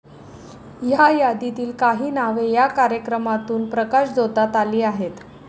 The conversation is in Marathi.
या यादीतील काही नावे या कार्यक्रमातून प्रकाशझोतात आली आहेत.